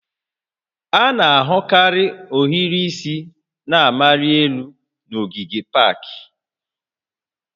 A na-ahụkarị ohiri isi na-amali elu n'ogige pak